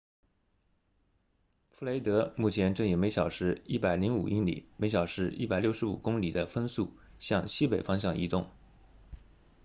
弗雷德目前正以每小时105英里每小时165公里的风速向西北方向移动